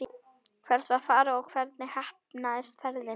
Hvert var farið og hvernig heppnaðist ferðin?